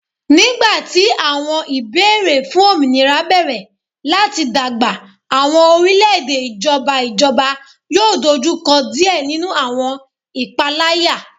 Nigbati awọn ibeere fun ominira bẹrẹ lati dagba awọn orilẹ-ede ijọba ijọba yoo dojukọ diẹ ninu awọn italaya